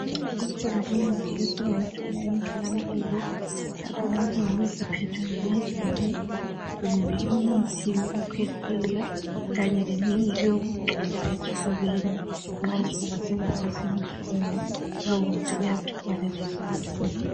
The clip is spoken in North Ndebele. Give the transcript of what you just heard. Ikhona imithi esingayithola emtholampilo, lapho nxa singabe siphethwe ngamazinyo, kumbe imithi yokukhwehlela kanye leminye eyokugcoba esifubeni, nxa isifuba singabe sibuhlungu lowo muthi uyathoba lezo zinhlungu.